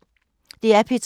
DR P2